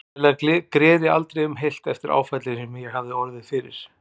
Sennilega greri aldrei um heilt eftir áfallið sem ég hafði orðið fyrir.